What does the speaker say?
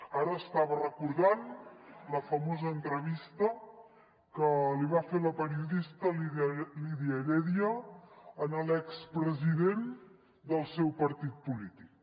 ara estava recordant la famosa entrevista que li va fer la periodista lídia heredia a l’expresident del seu partit polític